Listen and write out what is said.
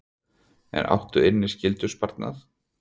En átt inni skyldusparnað?